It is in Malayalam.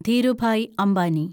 ധീരുഭായി അംബാനി